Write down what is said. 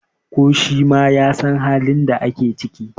ko shi ma ya San halin da ake ciki!